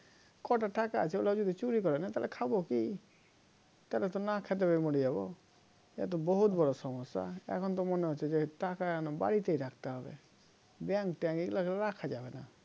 কটা টাকা আছে ওগুলো যদি চুরি করে নেয় তাহলে খাবো কি তাহলে তো না খেতে পেয়ে মরে যাব একটা বহুৎ বড় সমস্যা এখন ত মনে হচ্ছে যে টাকা এনে বাড়িতেই রাখতে হবে bank ট্যাঁক এগলা তে রাখা যাবেনা